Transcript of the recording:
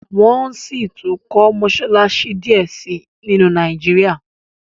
wón síi tún kò Mossalassi diẹ sí nínu Nàìjíríà